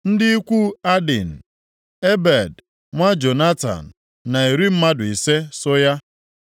Ndị ikwu Adin, Ebed nwa Jonatan na iri mmadụ ise (50) so ya.